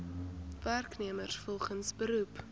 werknemers volgens beroep